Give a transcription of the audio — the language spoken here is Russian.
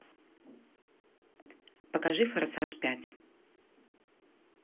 покажи форсаж пять